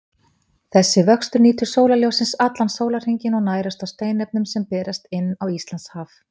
Þessi vöxtur nýtur sólarljóssins allan sólarhringinn og nærist á steinefnum sem berast inn á Íslandshaf.